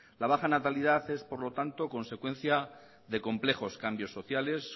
la baja natalidad es por lo tanto consecuencia de complejos cambios sociales